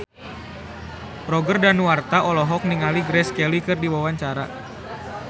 Roger Danuarta olohok ningali Grace Kelly keur diwawancara